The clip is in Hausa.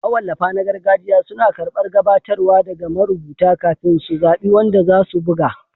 Mawallafa na gargajiya suna karɓar gabatarwa daga marubuta kafin su zaɓi wanda za su buga